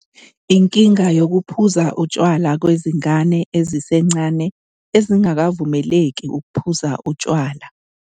Inkinga yokuphuza utshwala kwezingane ezisencane ezingakavumeleki ukuphuza utshwala.